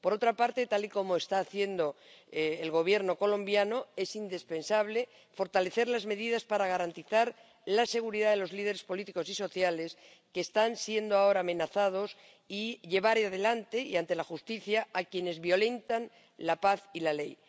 Por otra parte, tal y como está haciendo el Gobierno colombiano, es indispensable fortalecer las medidas para garantizar la seguridad de los líderes políticos y sociales que están siendo ahora amenazados y llevar adelante y ante la justicia a quienes violentan la paz y la ley.